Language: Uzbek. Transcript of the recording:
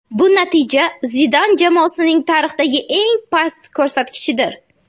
Bu natija Zidan jamoasining tarixdagi eng past ko‘rsatkichidir.